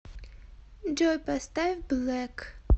джой поставь блэк